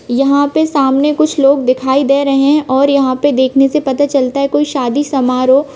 यहाँ पे सामने कुछ लोग दिखाई दे रहै है और यहाँ पे देखने से पता चलता है कोई शादी समारोह--